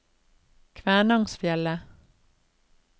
Kvænangsfjellet